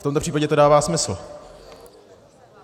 V tomto případě to dává smysl.